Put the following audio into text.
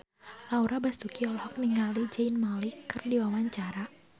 Laura Basuki olohok ningali Zayn Malik keur diwawancara